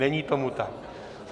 Není tomu tak.